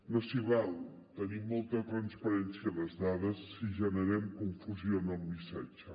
no s’hi val a tenir molta transparència en les dades si generem confusió amb el missatge